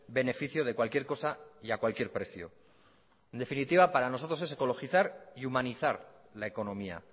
beneficio de cualquier cosa y a cualquier precio en definitiva para nosotros es ecologizar y humanizar la economía